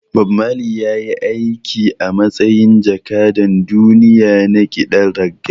Bob Marley ya yi aiki a matsayin jakadan duniya na kiɗan reggae